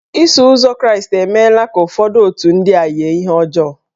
Iso ụzọ Kraịstị emela ka ụfọdụ otù ndị a yie ihe ọjọọ.